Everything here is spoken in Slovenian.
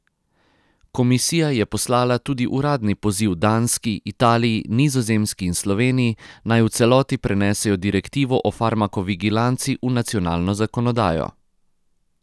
Komisija je poslala tudi uradni poziv Danski, Italiji, Nizozemski in Sloveniji, naj v celoti prenesejo direktivo o farmakovigilanci v nacionalno zakonodajo.